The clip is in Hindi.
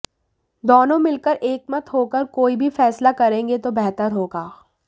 दोनों मिलकर एकमत होकर कोई भी फैसला करेंगे तो बेहतर होगा